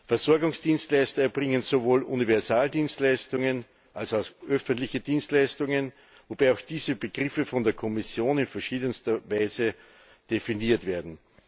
Versorgungsdienstleister erbringen sowohl Universaldienstleistungen als auch öffentliche Dienstleistungen, wobei auch diese Begriffe von der Kommission in verschiedenster Weise definiert werden.